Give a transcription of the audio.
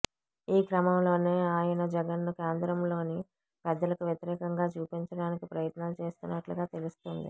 ఆ క్రమంలోనే ఆయన జగన్ను కేంద్రంలోని పెద్దలకు వ్యతిరేకంగా చూపించడానికి ప్రయత్నాలు చేస్తున్నట్లుగా తెలుస్తోంది